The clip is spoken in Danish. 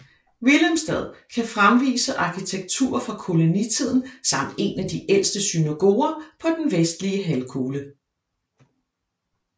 Willemstad kan fremvise arkitektur fra kolonitiden samt en af de ældste synagoger på den Vestlige Halvkugle